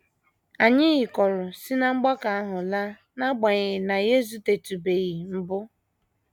Anyị yịkọrọ si ná mgbakọ ahụ laa, n’agbanyeghị na anyị ezutetụbeghị mbụ.